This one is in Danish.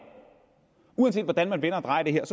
uanset hvordan man vender og drejer det her